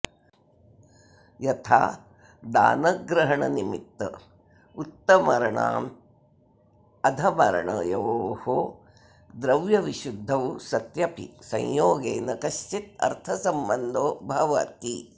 यथा दानग्रहणनिमित्त उत्तमर्णाधमर्णयोर्द्रव्यविशुद्धौ सत्यपि संयोगे न कश्चिदर्थसम्बन्धो भवति